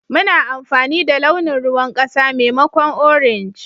Muna amfani da launin ruwan kasa maimakon orange.